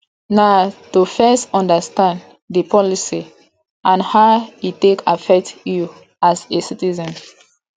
na to first understand di policy and how e take affect you as a citizen